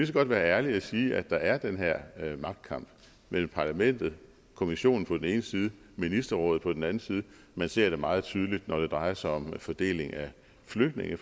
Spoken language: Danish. så godt være ærlige og sige at der er den her magtkamp mellem parlamentet kommissionen på den ene side ministerrådet på den anden side man ser det meget tydeligt når det drejer sig om fordeling af flygtninge